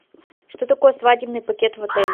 что такое свадебный пакет в отеле